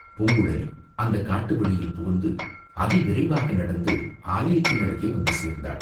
பூங்குழலி அந்தக் காட்டு வழியில் புகுந்து அதி விரைவாக நடந்து ஆலயத்தினருகே வந்து சேர்ந்தாள்.